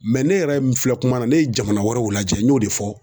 ne yɛrɛ min filɛ kuma na, ne ye jamana wɛrɛw lajɛ n y'o de fɔ.